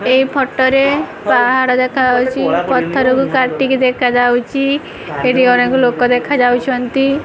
ଏଇ ଫଟୋ ରେ ପାହାଡ଼ ଦେଖାଯାଉଚି ପଥରକୁ କାଟିକି ଦେଖାଯାଉଚି ଏଠି ଅନେକ ଲୋକ ଦେଖା ଯାଉଛନ୍ତି।